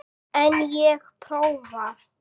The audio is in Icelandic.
En ég prófa.